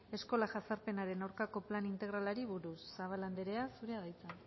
eskola jazarpenaren aurkako plan integralari buruz zabala andrea zurea da hitza